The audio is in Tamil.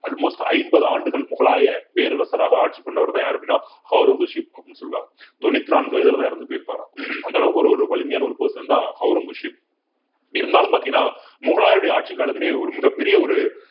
almost ஐம்பது ஆண்டுகள் முகலாய பேரரசராக ஆட்சி பண்ணவர்தான் யாரு அப்படின்னா ஒளரங்கசீப் அப்படின்னு சொல்லுவாங்க தொண்ணூத்தி நான்கு வயதுலதான் இறந்து போயிருப்பாராம் அந்த அளவுக்கு ஒரு வலிமையான ஒரு person தான் ஒளரங்கசீப் இருந்தாலும் பாத்தீங்கன்னா முகலாயருடைய ஆட்சிக் காலத்திலேயே மிக பெரிய ஒரு